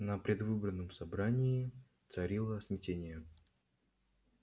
на предвыборном собрании царило смятение